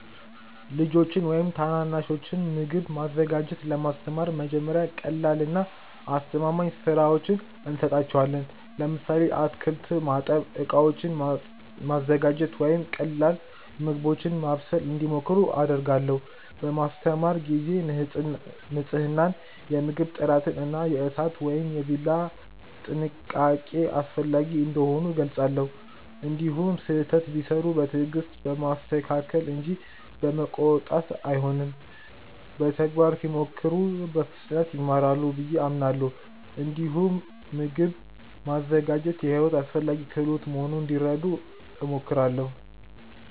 ልጆችን ወይም ታናናሾችን ምግብ ማዘጋጀት ለማስተማር መጀመሪያ ቀላልና አስተማማኝ ሥራዎችን እሰጣቸዋለሁ። ለምሳሌ አትክልት ማጠብ፣ ዕቃዎችን ማዘጋጀት ወይም ቀላል ምግቦችን ማብሰል እንዲሞክሩ አደርጋለሁ። በማስተማር ጊዜ ንፅህናን፣ የምግብ ጥራትን እና የእሳት ወይም የቢላ ጥንቃቄን አስፈላጊ እንደሆኑ እገልጻለሁ። እንዲሁም ስህተት ቢሠሩ በትዕግስት በማስተካከል እንጂ በመቆጣት አልሆንም። በተግባር ሲሞክሩ በፍጥነት ይማራሉ ብዬ አምናለሁ። እንዲሁም ምግብ ማዘጋጀት የሕይወት አስፈላጊ ክህሎት መሆኑን እንዲረዱ እሞክራለሁ።